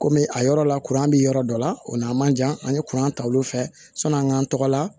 Komi a yɔrɔ la kuran bɛ yɔrɔ dɔ la o n'a man jan an ye kuran ta olu fɛ sɔni an k'an tɔgɔ la